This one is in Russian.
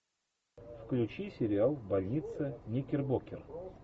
включи сериал больница никербокер